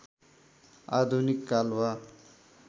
आधुनिक काल वा